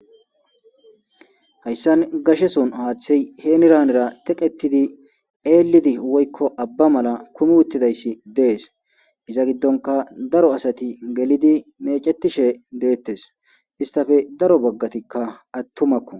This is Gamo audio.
Hayssan gashe sohon haathey henira hanira teqetidi eellidi woykko abba mala kumi utidayssi de'es iza gidonkka daro asati gelidi meecetishe deettes istappe daro baggatikka atumakko.